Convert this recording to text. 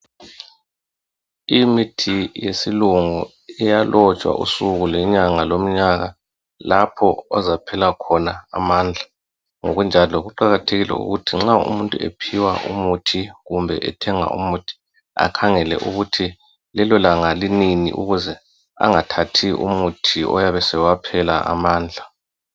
imithi yesilungu iyalotshwa ibizo, ilanga, lomnyaka, lalapho ezaphela khona amandla uyaphewa imithi kumbe ethenge umuthi akhangele ukuthi lelo langa ukuze engathathi umuthi owaphela amandla